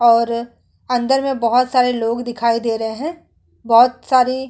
और अंदर मे बोहोत सारे लोग दिखाई दे रहे हैं। बोहोत सारी --